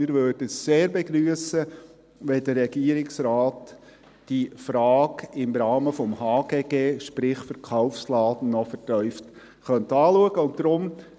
Wir würden es sehr begrüssen, wenn der Regierungsrat diese Frage im Rahmen des HGG, sprich Verkaufsladen, noch vertieft anschauen könnte.